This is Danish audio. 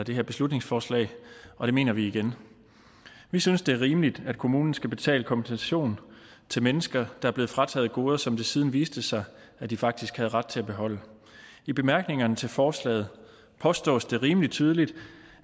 her beslutningsforslag og det mener vi igen vi synes det er rimeligt at kommunen skal betale kompensation til mennesker der er blevet frataget goder som det siden viste sig at de faktisk havde ret til at beholde i bemærkningerne til forslaget påstås det rimelig tydeligt